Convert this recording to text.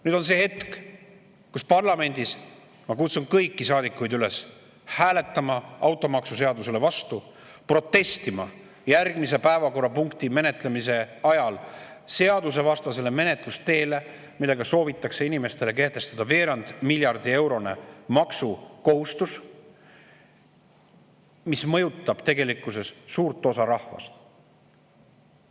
Nüüd on see hetk, kus ma kutsun üles kõiki saadikuid parlamendis hääletama automaksuseadusele vastu ja protestima järgmise päevakorrapunkti menetlemise ajal seadusevastase menetluse vastu, millega soovitakse inimestele kehtestada veerand miljardi euro suurune maksukohustus, mis mõjutab tegelikkuses suurt osa rahvast.